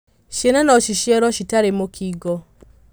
Ciana no ciciarwo citarĩmũkingo.